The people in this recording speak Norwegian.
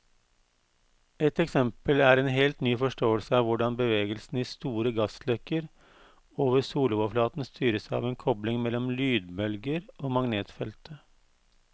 Et eksempel er en helt ny forståelse av hvordan bevegelsen i store gassløkker over soloverflaten styres av en kobling mellom lydbølger og magnetfeltet.